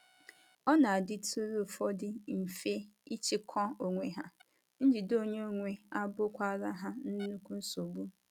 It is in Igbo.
Ọ na - adịtụrụ ụfọdụ mfe ịchịkwa onwe ha, njide onwe onye abụkwara ha nnukwu nsogbu.